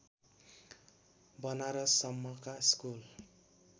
बनारससम्मका school